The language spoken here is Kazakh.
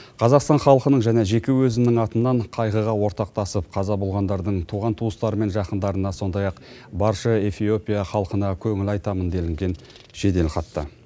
қазақстан халқының және жеке өзімнің атымнан қайғыға ортақтасып қаза болғандардың туған туыстары мен жақындарына сондай ақ барша эфиопия халқына көңіл айтамын делінген жеделхатта